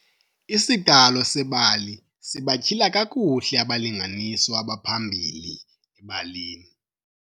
Isiqalo sebali sinatyhila kakuhle abalinganiswa abaphambili ebalini.